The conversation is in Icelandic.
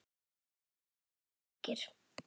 Allt of margir.